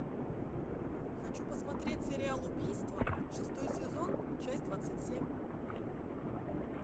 хочу посмотреть сериал убийство шестой сезон часть двадцать семь